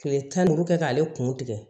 Kile tan ni duuru kɛ k'ale kun tigɛ